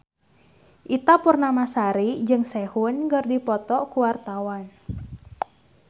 Ita Purnamasari jeung Sehun keur dipoto ku wartawan